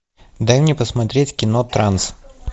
дай мне посмотреть кино транс